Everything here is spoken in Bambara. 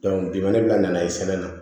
bi mana bila nan'a ye sɛbɛn na